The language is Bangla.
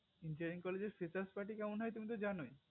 engineering college এর freshers party কেমন হয় তুমি তো জানোই